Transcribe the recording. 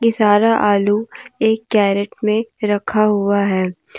सारा आलू एक कैरेट में रखा हुआ है।